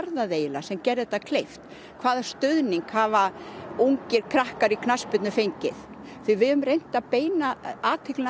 það eiginlega sem gerði þetta kleift hvaða stuðning hafa ungir krakkar í knattspyrnu fengið því við höfum reynt að beina athyglinni